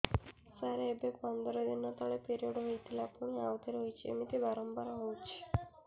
ସାର ଏବେ ପନ୍ଦର ଦିନ ତଳେ ପିରିଅଡ଼ ହୋଇଥିଲା ପୁଣି ଆଉଥରେ ହୋଇଛି ଏମିତି ବାରମ୍ବାର ହଉଛି